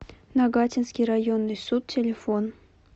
нагатинский районный суд телефон